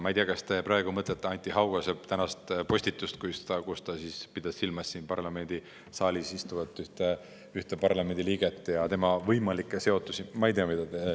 Ma ei tea, kas te praegu mõtlete Anti Haugase tänast postitust, millega ta pidas silmas ühte siin saalis istuvat parlamendi liiget ja tema võimalikku seotust.